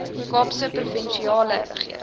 kaapse provinsiale regering